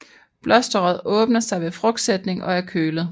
Blosteret åbner sig ved frugtsætning og er kølet